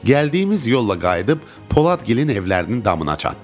Gəldiyimiz yolla qayıdıb Poladgilin evlərinin damına çatdıq.